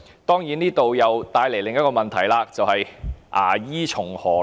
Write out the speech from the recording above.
當然，這將會帶來另一個問題，便是"牙醫從何來？